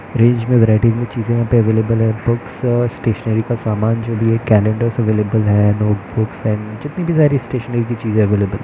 range varieties मे चीजे होति हैं अवैलबल हैं बुक्स आ स्टैशनेरी का समान जो दिए कनिद्रास अवैलबल हैं नोट बुक्स अंड जितनी भी सारी स्टैशनेरी कि चीज अवैलबल--